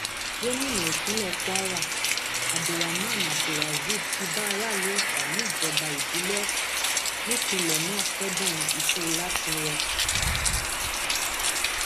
gomina ìpínlẹ kwara abdulrahman abdulrazib ti bá aráàlú ọfà níjọba ìbílẹ ọfà nípìnlẹ náà kẹdùn ikú látìnwò